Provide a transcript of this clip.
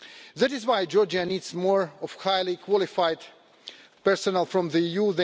That is why Georgia needs more highly-qualified personnel from the EU.